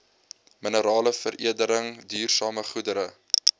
mineraleveredeling duursame goedere